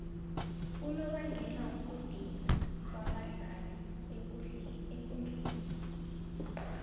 unobangela wokudinwa kwabadlali ekundleni